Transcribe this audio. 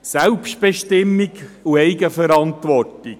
– Selbstbestimmung und Eigenverantwortung.